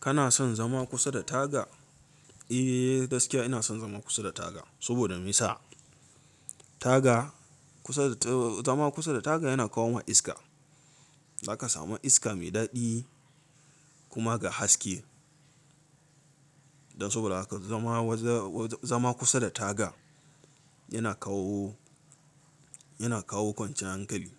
Kana son zama kusa da taga? Eh, gaskiya ina son zama kusa da taga saboda me yasa? Taga kusa da t- zama kusa da taga yana kawo ma iska. Zaka samu iska mai daɗi kuma ga haske. Dan saboda haka zama, zama kusa da taga yana kawo, yana kawo kwanciyan hankali